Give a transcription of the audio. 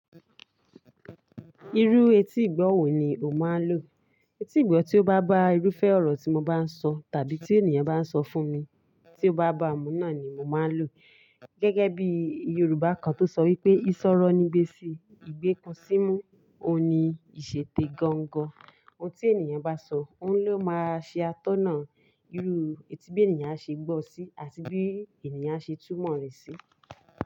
Irú etí ìgbọ́ wò ni o máa ń lò? Etí ìgbọ́ tí ó bá bá irúfẹ́ ọ̀rọ̀ tí mo bá ń sọ tàbí tí ènìyàn bá ń sọ fún mi, tí ó bá bá mu náà ni mo máa ń lò. Gẹ́gẹ́ bí Yorùbá kan tó sọ wípé "ìsọ̀rọ̀ nì ìgbèsì, ìgbé ikun símú òun ní ìṣètè gangan". Ohun tí ènìyàn bá sọ, òun ló máa ṣe atọ́nà. Irú etí bí ènìyàn á ṣe gbọ́ ọ sí àti bí ènìyàn á ṣe túmọ̀ rẹ̀ sí.